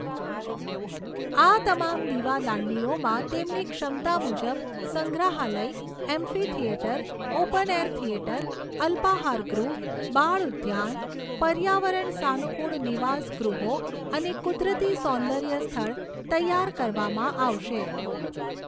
આ તમામ દિવાદાંડીઓમાં તેમની ક્ષમતા મુજબ સંગ્રહાલય, amphitheatre, open air theatre, અલ્પાહારગૃહ, બાળઉદ્યાન, પર્યાવરણ સાનુકૂળ નિવાસગૃહો અને કુદરતી સૌંદર્ય સ્થળ તૈયાર કરવામાં આવશે.